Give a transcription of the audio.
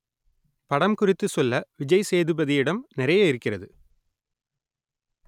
படம் குறித்து சொல்ல விஜய் சேதுபதியிடம் நெறைய இருக்கிறது